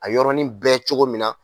A yɔrɔnin bɛɛ cogo min na